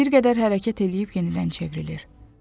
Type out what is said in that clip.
Bir qədər hərəkət eləyib yenidən çevrilir.